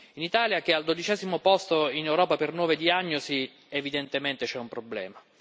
in Italia, che è al dodicesimo posto in Europa per nuove diagnosi, evidentemente c'è un problema.